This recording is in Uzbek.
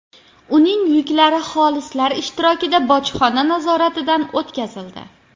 Uning yuklari xolislar ishtirokida bojxona nazoratidan o‘tkazildi.